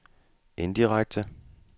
indirekte